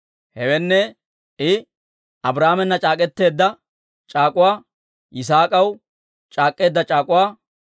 Hewenne, I Abrahaamena c'aak'k'eteedda c'aak'uwa, Yisaak'aw c'aak'k'eedda c'aak'uwa.